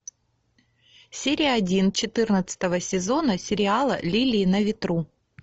серия один четырнадцатого сезона сериала лилии на ветру